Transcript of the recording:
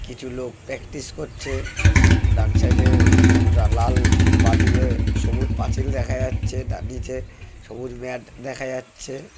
কিছু লোক প্র্যাকটিস করছে ডান সাইড এ লাল বাঁ দিকে সবুজ পাঁচিল দেখা যাচ্ছে তার নিচে সবুজ ম্যাট দেখা যাচ্ছে।